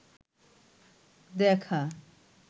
দেখা